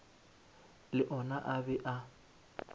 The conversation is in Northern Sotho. le ona a be a